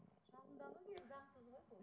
шағымдану керек заңсыз ғой бұл